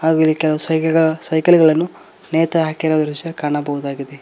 ಹಾಗೂ ಇಲ್ಲಿ ಕೆಲವು ಸೈಕಲ್ಗಳನ್ನು ನೇತು ಹಾಕಿರುವ ದೃಶ್ಯ ಕಾಣಬಹುದಾಗಿದೆ.